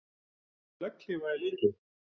Notkun legghlífa í leikjum?